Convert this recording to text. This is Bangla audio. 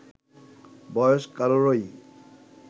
বয়স কারোরই